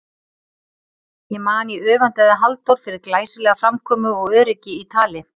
Ég man ég öfundaði Halldór fyrir glæsilega framkomu og öryggi í tali.